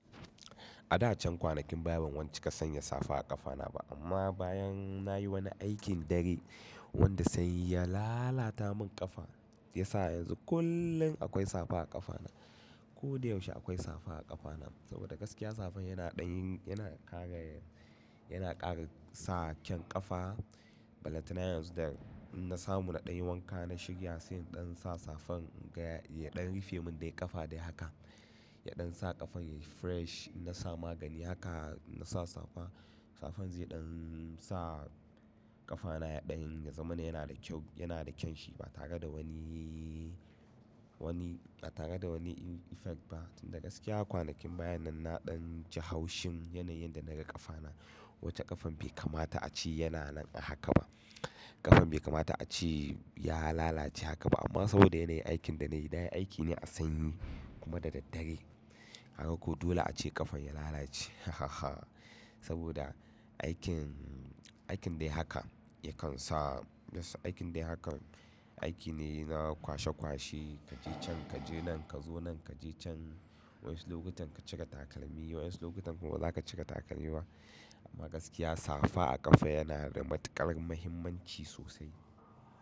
Ada can kwanakin baya ban wani ci ka sanya safa a ƙafa na ba, amma bayan nayi wani aikin dare wanda sai ya lalata mun ƙafa, shiyasa yanzu kullum akwai safa a ƙafa na. Ko da yaushe akwai safa a ƙafana, saboda gaskiya safan yana ɗan yin, yana ƙara, yana ƙara sa ƙyan ƙafa. Balanta na yanzu da in na samu na ɗan yi wanka na shirya, sai ɗan sa safan in gaya ya ɗan rufe mun dai ƙafa dai haka. Ya ɗan sa ƙafan ya fresh. Na sa magani haka na sa safa. Safan zai ɗan sa ƙafana ya ɗan yazama yana da kyau, yana da kyan shi ba tare da wani, wani ba tare da wani effect ba. Tunda gaskiya kwanakin baya nan na ɗan ji haushin yana yin da naga ƙafa na, wacce ƙafan bai kamata a ce yana nan a haka ba. Ƙafan bai kamata a ce ya lalace haka ba, amma saboda yana yin aikin da nayi, na yi aiki ne a sanyi kuma da daddare. Kqga ko dole ace ƙafan ya lalace, hhh saboda aikin, aikin dai haka yakan sa aikin dai haka, aiki ne na kwashe kwashe kaje can kaje nan kazo nan kaje can. Wasu lokutan ka cire takalmi, wasu lokuta kuma bazaka cire takalmi ba. Amma gaskiya safa a ƙafa yana da matuƙar muhimmanci sosai.